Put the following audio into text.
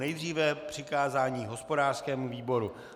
Nejdříve přikázání hospodářskému výboru.